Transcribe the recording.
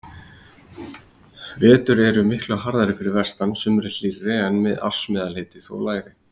Vetur eru miklu harðari fyrir vestan, sumrin hlýrri en ársmeðalhiti þó lægri.